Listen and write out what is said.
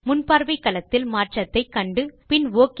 முன்பார்வை களத்தில் மாற்றத்தை கண்டு பின் ஒக்